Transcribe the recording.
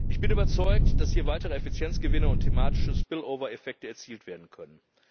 Ich bin überzeugt davon, dass hier weitere Effizienzgewinne und thematische Spillover Effekte erzielt werden können.